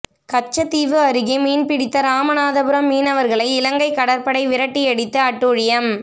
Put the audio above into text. கச்சத்தீவு அருகே மீன்பிடித்த ராமநாதபுரம் மீனவர்களை இலங்கை கடற்படை விரட்டியடித்து அட்டூழியம்